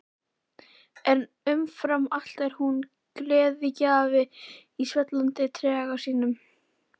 En umfram allt er hún gleðigjafi í svellandi trega sínum.